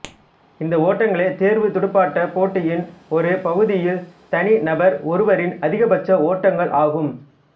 இந்த ஓட்டங்களே தேர்வுத் துடுப்பாட்டப் போட்டியின் ஒரு பகுதியில் தனி நபர் ஒருவரின் அதிகபட்ச ஓட்டங்கள் ஆகும்